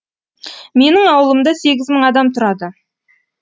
менің ауылымда сегіз мың адам тұрады